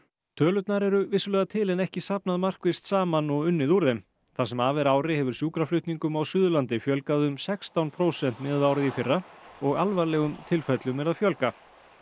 tölurnar eru vissulega til en er ekki safnað markvisst saman og unnið úr þeim það sem af er ári hefur sjúkraflutningum á Suðurlandi fjölgað um sextán prósent miðað við árið í fyrra og er alvarlegum tilfellum að fjölga